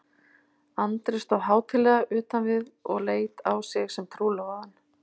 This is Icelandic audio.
Andri stóð hátíðlega utan við og leit á sig sem trúlofaðan.